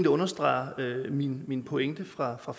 understreger min min pointe fra fra